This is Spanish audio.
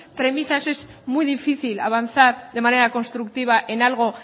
premisas es muy difícil avanzar de manera constructiva en algo